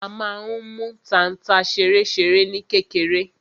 A má n mú tanta ṣeréṣeré ní kékeré.